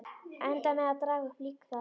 Endaði með að daga uppi líka þar.